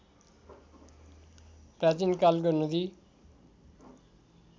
प्राचीन कालको नदी